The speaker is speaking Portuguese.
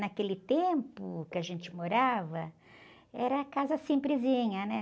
Naquele tempo que a gente morava, era casa simplesinha, né?